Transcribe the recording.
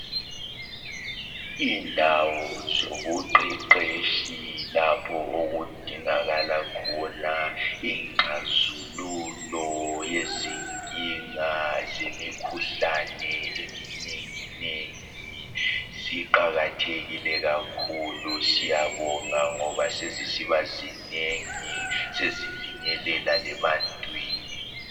Indawo zobuqheqheshi lapho okudingakala khona ingxazululo yezinkinga zemikhuhlane eminengi nengi. Ziqakathekile kakhulu siyabonga ngoba sezisiba zinengi, sezifinyelela lebantwini.